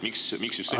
Miks just selline otsus?